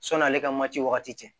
Sɔn'ale ka mati wagati cɛ